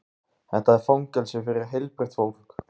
Þetta fangelsi er fyrir heilbrigt fólk.